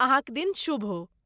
अहाँक दिन शुभ हो ।